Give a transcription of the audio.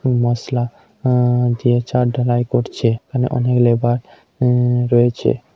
মসলা উম দিয়ে ছাদ ঢালাই করছে এবং অনেক লেবার উম রয়েছে।